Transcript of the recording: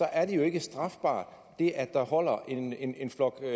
er det jo ikke strafbart at der holder en flok med